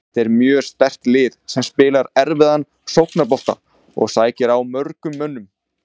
Þetta er mjög sterkt lið sem spilar erfiðan sóknarbolta og sækir á mörgum mönnum.